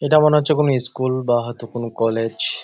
এটা মনে হচ্ছে কোন ইস্কুল বা হয়তো কোন কলেজ ।